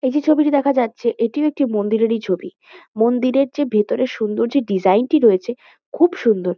এই যে ছবিটি দেখা যাচ্ছে এটিও একটি মন্দিরেরই ছবি। মন্দিরের যে ভেতরের সুন্দর যে ডিসাইন টি রয়েছে খুব সুন্দর।